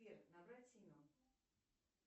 сбер набрать семен